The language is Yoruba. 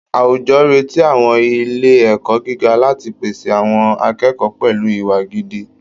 Àwùjọ retí àwọn ilé ẹ̀kọ́ gíga láti pèsè àwọn akẹ́kọ̀ọ́ pẹ̀lú ìwà gidi